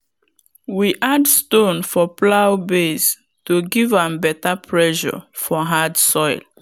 we add stone for plow base to give am better pressure for hard soil.